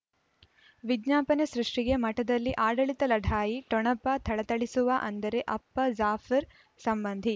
ವಿಜ್ಞಾಪನೆ ಸೃಷ್ಟಿಗೆ ಮಠದಲ್ಲಿ ಆಡಳಿತ ಲಢಾಯಿ ಠೊಣಪ ಥಳಥಳಿಸುವ ಅಂದರೆ ಅಪ್ಪ ಜಾಫರ್ ಸಂಬಂಧಿ